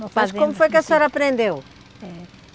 Mas como foi que a senhora aprendeu?